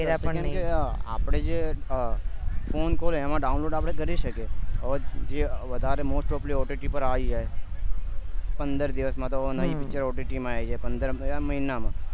વગેરે પણ નહી આપડે જે અ ફોન download આપડે કરી શકીએ હવે જે વધારે mostly આવી ગાય છે પંદર દિવસ માં તો નવી picture માં આવી જાય પંદર એ મહિનામાં